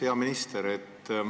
Hea minister!